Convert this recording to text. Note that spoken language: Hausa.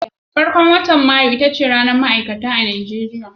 Farkon watan Mayu ita ce ranar ma'aikata a Najeriya.